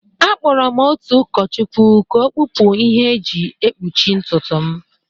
Akpọrọ m otu ụkọchukwu ka ọ kpụpụ ihe ndị e ji ekpuchi ntutu m